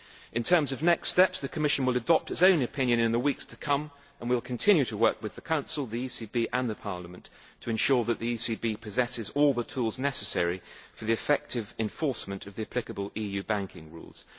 In terms of next steps, the Commission will adopt its own opinion in the weeks to come, and we will continue to work with the Council, the ECB and Parliament to ensure that the ECB possesses all the tools necessary for the effective enforcement of the applicable EU banking rules.